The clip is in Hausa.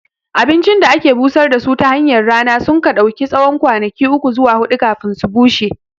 Abincin da ake busar da su tahanyar rana sunka ɗauki tsawon kwanaki uku zuwa huɗu kafin su bushe